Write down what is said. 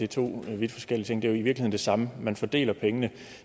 to vidt forskellige ting det er jo i virkeligheden det samme man fordeler pengene